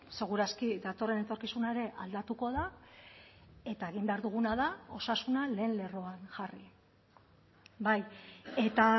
seguraski datorren etorkizuna ere aldatuko da eta egin behar duguna da osasuna lehen lerroan jarri bai eta